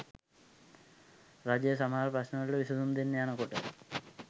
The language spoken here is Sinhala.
රජය සමහර ප්‍රශ්නවලට විසඳුම් දෙන්න යන කොට